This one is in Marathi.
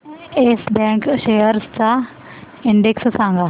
येस बँक शेअर्स चा इंडेक्स सांगा